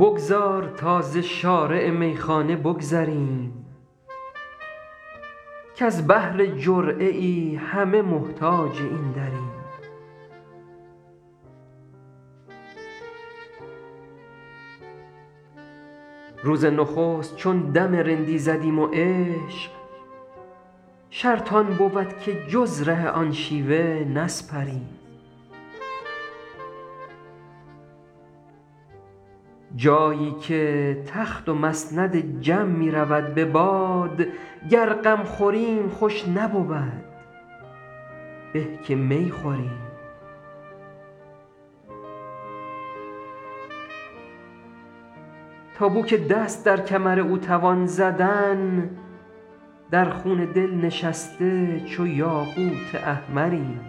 بگذار تا ز شارع میخانه بگذریم کز بهر جرعه ای همه محتاج این دریم روز نخست چون دم رندی زدیم و عشق شرط آن بود که جز ره آن شیوه نسپریم جایی که تخت و مسند جم می رود به باد گر غم خوریم خوش نبود به که می خوریم تا بو که دست در کمر او توان زدن در خون دل نشسته چو یاقوت احمریم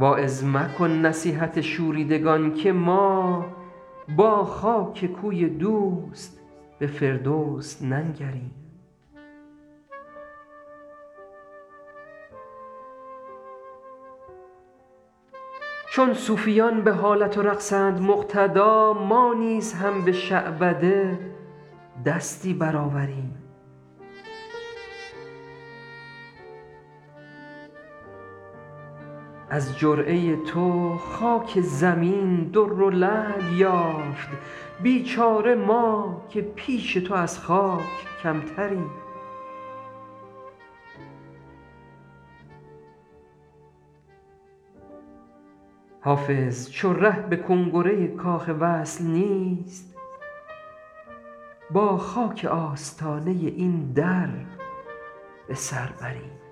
واعظ مکن نصیحت شوریدگان که ما با خاک کوی دوست به فردوس ننگریم چون صوفیان به حالت و رقصند مقتدا ما نیز هم به شعبده دستی برآوریم از جرعه تو خاک زمین در و لعل یافت بیچاره ما که پیش تو از خاک کمتریم حافظ چو ره به کنگره کاخ وصل نیست با خاک آستانه این در به سر بریم